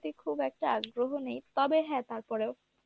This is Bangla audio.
cinema র প্রতি খুব একটা আগ্রহ নেই তবে হ্যাঁ তারপরেও